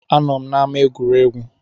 A nọ m n’ama egwuregwu